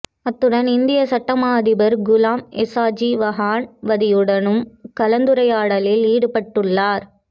அத்துடன் இந்திய சட்டமா அதிபர் குலாம் எஸாஜி வஹன்வதியுடனும் கலந்துரையாடலில் ஈடுபட்டுள்ளார்